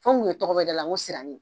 An kun ye tɔgɔ bɛɛ d'a la ko sirani